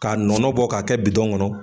K'a nɔnɔ bɔ k'a kɛ bitɔn ŋɔnɔ